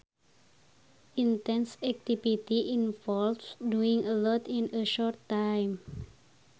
Intense activity involves doing a lot in a short time